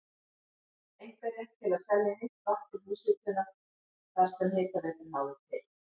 einkarétt til að selja heitt vatn til húshitunar þar sem hitaveitan náði til.